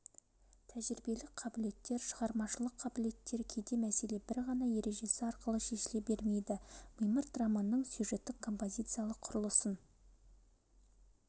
тәжірибелік қабілеттер шығармашылық қабілеттер кейде мәселе бір ғана ережесі арқылы шешіле бермейді мимырт романының сюжеттік-композициялық құрылысын